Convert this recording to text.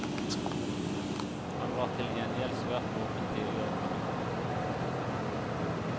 Han var til gjengjeld svært våken tidligere på natten.